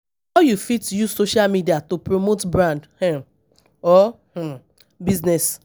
how you fit use social media to promote brand um or um business?